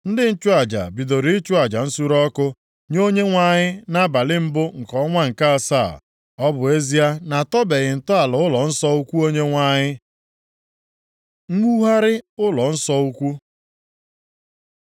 Ndị nchụaja bidoro ịchụ aja nsure ọkụ nye Onyenwe anyị nʼabalị mbụ nke ọnwa nke asaa. Ọ bụ ezie na a tọbeghị ntọala ụlọnsọ ukwu Onyenwe anyị. Mwugharị ụlọnsọ ukwu